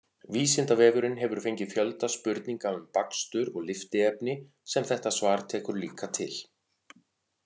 Vísindavefurinn hefur fengið fjölda spurninga um bakstur og lyftiefni sem þetta svar tekur líka til.